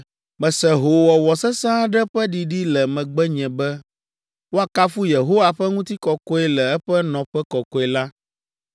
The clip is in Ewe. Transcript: Mese hoowɔwɔ sesẽ aɖe ƒe ɖiɖi le megbenye be, “Woakafu Yehowa ƒe ŋutikɔkɔe le eƒe nɔƒe kɔkɔe la.”